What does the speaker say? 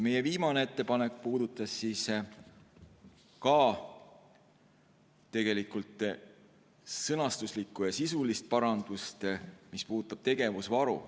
Meie viimane ettepanek puudutas ka tegelikult sõnastuslikku ja sisulist parandust, mis puudutab tegevusvaru.